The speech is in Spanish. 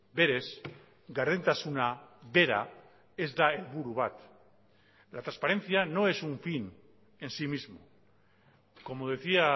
berez gardentasuna bera ez da helburu bat la transparencia no es un fin en sí mismo como decía